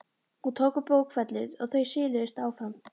Hún tók upp bókfellið og þau siluðust af stað.